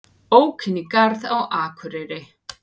Ók inn í garð á Akureyri